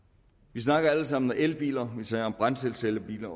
vi snakker alle sammen om elbiler vi taler om brændselscellebiler